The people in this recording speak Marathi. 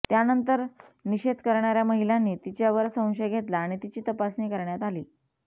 त्यानंतर निषेध करणार्या महिलांनी तिच्यावर संशय घेतला आणि तिची तपासणी करण्यात आली